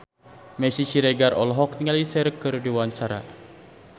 Meisya Siregar olohok ningali Cher keur diwawancara